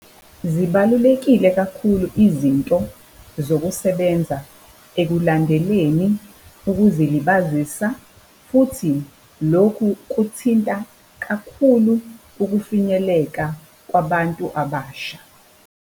Zibalulekile kakhulu izinto zokusebenza ekulandeleni ukuzilibazisa futhi lokhu ukuthinta kakhulu ukufinyeleka kwabantu abasha.